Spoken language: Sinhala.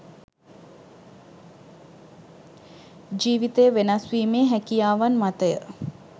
ජීවිතය වෙනස් ‍වීමේ හැකියාවන් මතය